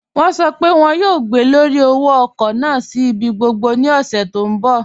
Wọn sọ́ pé wọn yóò gbọ̀lọ́rí òwò-ọ̀kọ̀ naà sí ibi gbogbo ní òṣè tí n bọ̀.